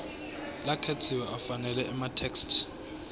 lakhetsiwe afanele itheksthi